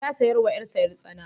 Ya saya wa ƴarsa ƴar-tsana.